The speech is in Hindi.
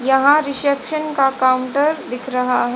यहां रिसेप्शन का काउंटर दिख रहा है।